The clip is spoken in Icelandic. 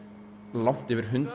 langt yfir hundrað